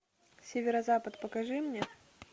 северо запад покажи мне